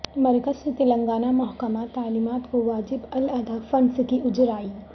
مرکز سے تلنگانہ محکمہ تعلیمات کو واجب الادا فنڈس کی اجرائی